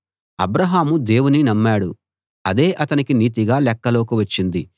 అబ్రాహాము దేవుని నమ్మాడు అదే అతనికి నీతిగా లెక్కలోకి వచ్చింది